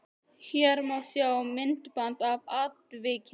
Hér má sjá myndband af atvikinu